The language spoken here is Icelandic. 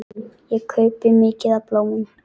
Ég kaupi mikið af bolum.